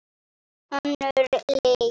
Önnur lygi.